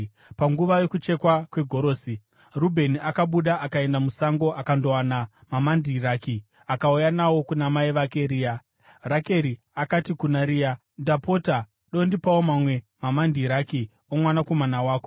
Panguva yokuchekwa kwegorosi, Rubheni akabuda akaenda musango akandowana mamandiraki, akauya nawo kuna mai vake Rea, Rakeri akati kuna Rea, “Ndapota dondipawo mamwe mamandiraki omwanakomana wako.”